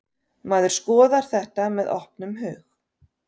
Maður skoðar þetta með opnum hug.